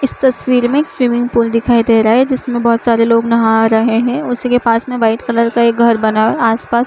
इस तस्वीर में एक स्विमिंग पूल दिखाई दे रहा है जिसमें बहुत सारे लोग नहा रहे है उसी के पास में व्हाइट कलर ये घर बना हुआ आसपास --